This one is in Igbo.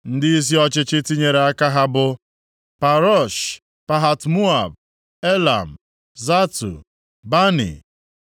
Ndịisi ọchịchị tinyere aka ha bụ, Parosh, Pahat-Moab, Elam, Zatu, Bani,